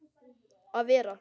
að vera.